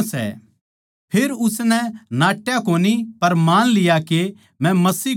फेर उसनै यो मान लिया अर नाट्या कोनी पर मान लिया मै मसीह कोनी सूं